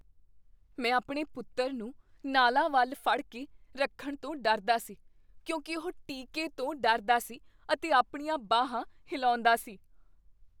ਮੈਂ ਆਪਣੇ ਪੁੱਤਰ ਨੂੰ ਨਾਲਾਂ ਵੱਲ ਫੜ ਕੇ ਰੱਖਣ ਤੋਂ ਡਰਦਾ ਸੀ ਕਿਉਂਕਿ ਉਹ ਟੀਕੇ ਤੋਂ ਡਰਦਾ ਸੀ ਅਤੇ ਆਪਣੀਆਂ ਬਾਹਾਂ ਹਿਲਾਉਂਦਾ ਸੀ।